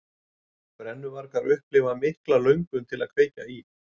Brennuvargar upplifa mikla löngun til að kveikja í.